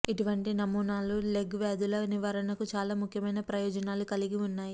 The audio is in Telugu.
ఇటువంటి నమూనాలు లెగ్ వ్యాధుల నివారణకు చాలా ముఖ్యమైన ప్రయోజనాలు కలిగి ఉన్నాయి